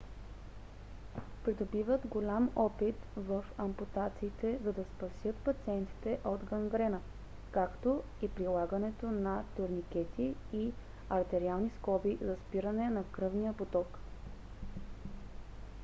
придобиват голям опит в ампутациите за да спасят пациентите от гангрена както и прилагането на турникети и артериални скоби за спиране на кръвния поток